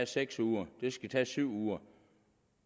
seks uger eller syv uger